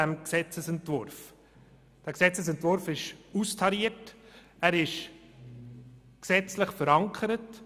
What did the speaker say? Der Gesetzesentwurf ist austariert und gesetzlich verankert.